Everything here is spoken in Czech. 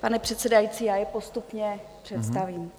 Pane předsedající, já je postupně představím.